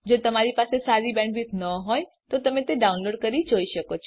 જો તમારી બેન્ડવિડ્થ સારી ન હોય તો તમે ડાઉનલોડ કરી તે જોઈ શકો છો